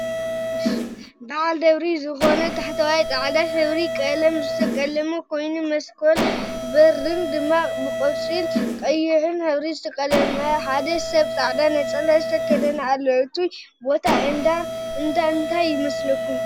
ባዓል ደብሪ ዝኮነ ታሕተዋይ ፃዕዳ ሕብሪ ቀለም ዝተቀለመ ኮይኑ መስኮትን በርን ድማ ብቆፃልን ቀይሕን ሕብር ዝተቀለመ ሓደ ሰብ ፃዕዳ ነፀላ ዝተከደነ ኣሎ። እቱይ ቦታ እንዳ እንታይ ይመስለኩም ?